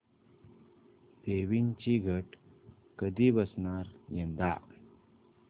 देवींचे घट कधी बसणार यंदा